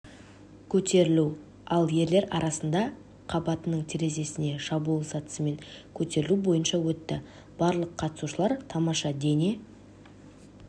көтерілу ал ерлер арасында қабатының терезесіне шабуыл сатысымен көтерілу бойынша өтті барлық қатысушылар тамаша дене